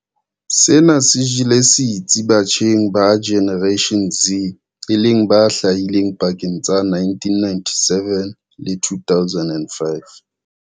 Sena se jele setsi batjheng ba Generation Z e leng ba hlahileng pakeng tsa 1997 le 2005.